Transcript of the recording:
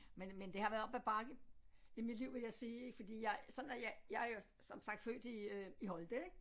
Men men det har været op ad bakke i mit liv vil jeg sige fordi jeg sådan er jeg jeg er jo som sagt født i øh i Holte ik